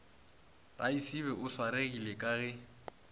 raisibe o swaregile ka ge